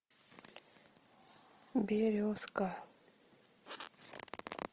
березка